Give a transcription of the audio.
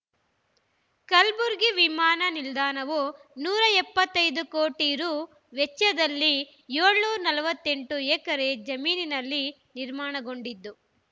ಕಲ್ಬುರ್ಗಿ ವಿಮಾನ ನಿಲ್ದಾಣವು ನೂರ ಎಪ್ಪತ್ತ್ ಐದು ಕೋಟಿ ರೂ ವೆಚ್ಚದಲ್ಲಿ ಏಳುನೂರ ನಲವತ್ತೆಂಟು ಎಕರೆ ಜಮೀನಿನಲ್ಲಿ ನಿರ್ಮಾಣಗೊಂಡಿದ್ದು